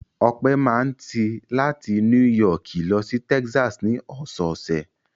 Ọpẹ́ máa ń ti láti Núì Yọọkì lọ sí Texas ní ọ̀sẹ̀ẹ̀sẹ̀.